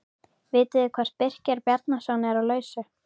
Vitið þið hvort Birkir Bjarnason er á lausu?